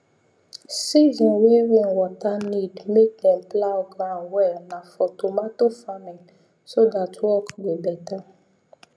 season way rainwater need make dem plough ground well nah for tomato farming so that work go better